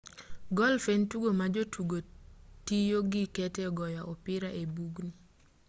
golf en tugo ma jotugo tiyo gi kete goyo opira e i bugni